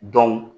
Dɔn